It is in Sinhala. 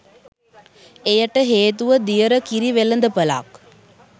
එයට හේතුව දියර කිරි වෙළඳපළක්